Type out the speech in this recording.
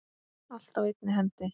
Allt á einni hendi.